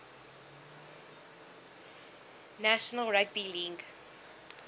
national rugby league